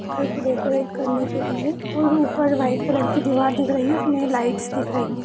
घर को डेकोरेट करने के लिए और ऊपर व्हाइट कलर की दीवार दिख रही है उसमें लाइट्स दिख रहीं हैं।